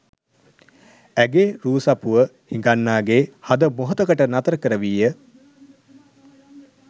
ඇගේ රූ සපුව හිඟන්නාගේ හද මොහොතකට නතර කරවීය.